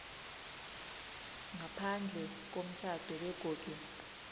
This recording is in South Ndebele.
ngaphandle komtjhado begodu